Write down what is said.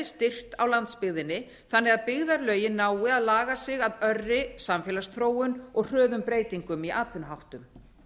styrkt á landsbyggðinni þannig að byggðarlögin nái að laga sig að örri samfélagsþróun og hröðum breytingum í atvinnuháttum